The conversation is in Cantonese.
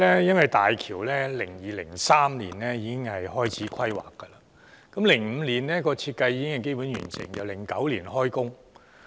因為2002年及2003年時開始規劃大橋 ，2005 年時設計已經基本完成，然後直到2009年動工。